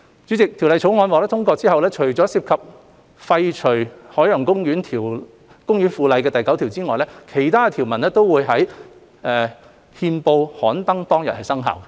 主席，《條例草案》獲通過後，除涉及廢除《海洋公園附例》第9條外，其他條文均會在憲報刊登當日生效。